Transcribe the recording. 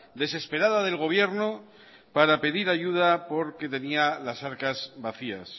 desesperada del gobierno para pedir ayuda porque tenía las arcas vacías